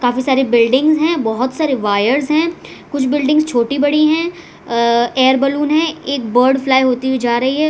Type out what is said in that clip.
काफी सारी बिल्डिंग हैं बहोत सारे वायर्स हैं कुछ बिल्डिंग छोटी बड़ी हैं एयर बैलून है एक बर्ड फ्लाई होती हुई जा रही है।